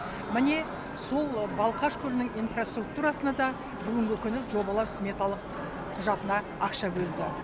міне сол балқаш көлінің инфраструктурасына да бүгінгі күні жобалау сметалық құжатына ақша бөлді